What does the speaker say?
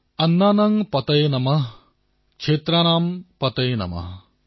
অন্নানাঃ পতয়ে নমঃ ক্ষেত্ৰানাম পতয়ে নমঃ